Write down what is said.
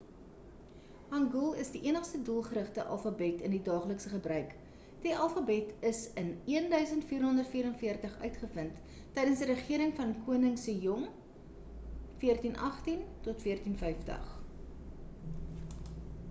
hangeul is die enigste doelgerigte alfabet in die daaglikse gebruik. die alfabet is in 1444 uitgevind tydens die regering van koning sejong 1418 - 1450